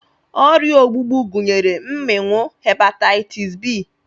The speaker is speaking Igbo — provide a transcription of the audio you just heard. Ọrịa ogbugbu gụnyere mmịnwụ, hepataịtis b,